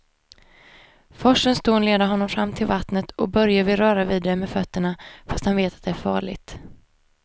Forsens dån leder honom fram till vattnet och Börje vill röra vid det med fötterna, fast han vet att det är farligt.